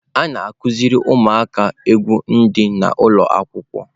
A na-akụziri ụmụaka egwu dị n'ụlọ akwụkwọ.